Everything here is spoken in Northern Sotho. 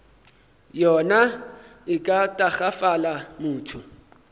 yona e ka tagafala motho